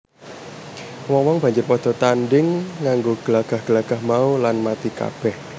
Wong wong banjur padha tandhing nganggo glagah glagah mau lan mati kabeh